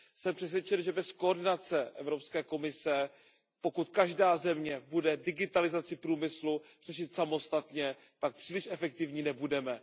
Jsem přesvědčen, že bez koordinace Evropské komise, pokud každá země bude digitalizaci průmyslu řešit samostatně, tak příliš efektivní nebudeme.